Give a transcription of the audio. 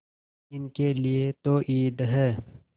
इनके लिए तो ईद है